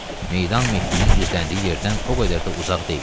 Meydan Mehdinin gizləndiyi yerdən o qədər də uzaq deyildi.